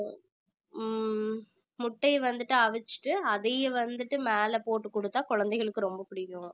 ஹம் முட்டை வந்துட்டு அவிச்சிட்டு அதையும் வந்துட்டு மேல போட்டுக் கொடுத்தால் குழந்தைகளுக்கு ரொம்ப பிடிக்கும்